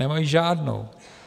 Nemají žádnou.